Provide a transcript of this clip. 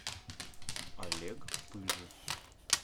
олег пыж